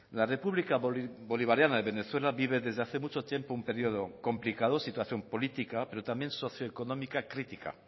la república bolivariana de venezuela vive desde hace mucho tiempo un periodo complicado situación política pero también socioeconómica crítica